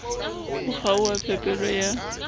ho kgaoha ha phepelo ya